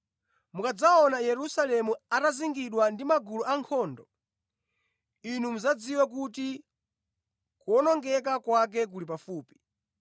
“Mukadzaona Yerusalemu atazingidwa ndi magulu ankhondo, inu mudzadziwe kuti kuwonongeka kwake kuli pafupi.